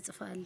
እጽፋለሁ።